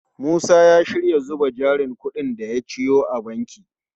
Musa ya shirya zuba jarin kudin da ya ciyo a banki.